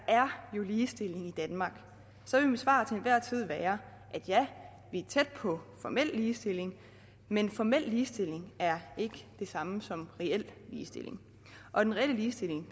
er ligestilling i danmark så vil mit svar til enhver tid være ja vi er tæt på formel ligestilling men formel ligestilling er ikke det samme som reel ligestilling og den reelle ligestilling